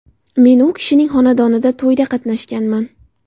Men u kishinning xonadonida to‘yda qatnashganman.